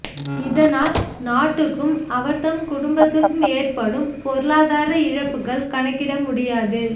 இதனால் நாட்டுக்கும் அவர்தம் குடும்பத்துக்கும் ஏற்படும் பொருளாதார இழப்புக்கள் கணக்கிட முடியாது